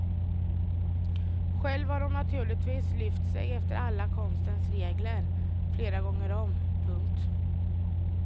Själv har hon naturligtvis lyft sig efter alla konstens regler flera gånger om. punkt